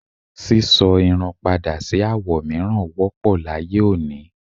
sísọ irun padà sí àwo mìíràn wọ́pọ̀ láyé òní.